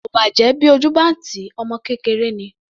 Kò bàjẹ́ bí ojú bá ń tì í, ọmọ kékeré ni.